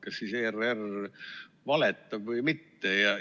Kas siis ERR valetab või mitte?